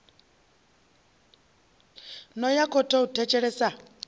no ya khothe u thetshelesa